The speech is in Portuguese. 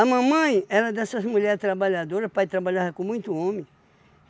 mamãe era dessas mulheres trabalhadoras, o pai trabalhava com muito homem.